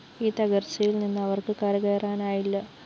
ഈ തകര്‍ച്ചയില്‍ നിന്ന് അവര്‍ക്ക് കരകയറാനായില്ല